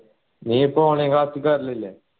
നീ ഇപ്പൊ online class ൽ കേറൽ ഇല്ലേ